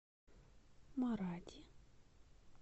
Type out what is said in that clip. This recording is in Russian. маради